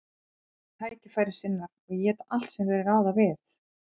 Þeir eru tækifærissinnar og éta allt sem þeir ráða við.